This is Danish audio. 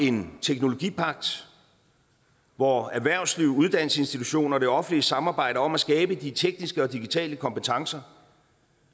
en teknologipagt hvor erhvervsliv uddannelsesinstitutioner og det offentlige samarbejder om at skabe de tekniske og digitale kompetencer